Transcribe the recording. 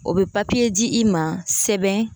O be di i ma sɛbɛn